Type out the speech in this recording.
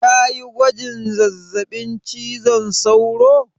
Kayi gwajin zazzaɓin cizon sauro?